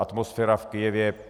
Atmosféra v Kyjevě.